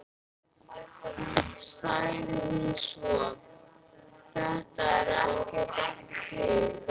sagði hún svo: Þetta er ekkert eftir þig!